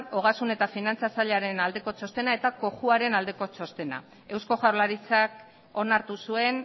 ogasun eta finantza sailaren aldeko txostena eta cojuaren aldeko txostena eusko jaurlaritzak onartu zuen